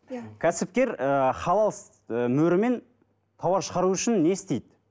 кәсіпкер ы халал мөрімен тауар шығару үшін не істейді